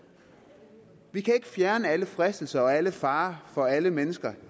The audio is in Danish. vi kan ikke fjerne alle fristelser og alle farer for alle mennesker